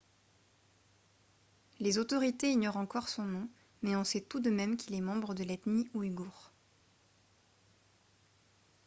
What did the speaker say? les autorités ignorent encore son nom mais on sait tout de même qu'il est membre de l'ethnie ouïghour